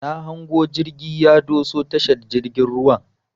Na hango jirgi ya doso tashar jirgin ruwan.